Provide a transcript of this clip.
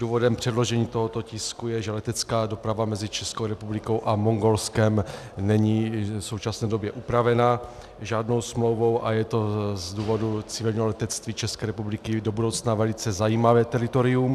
Důvodem předložení tohoto tisku je, že letecká doprava mezi Českou republikou a Mongolskem není v současné době upravena žádnou smlouvou, a je to z důvodu civilního letectví České republiky do budoucna velice zajímavé teritorium.